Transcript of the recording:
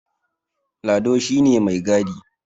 Lado shi ne mai gadi